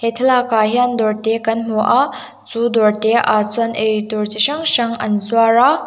thlalakah hian dawr te kan hmu a chu dawr te ah chuan ei tur chi hrang hrang an zuar a--